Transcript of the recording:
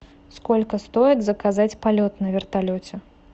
сколько стоит заказать полет на вертолете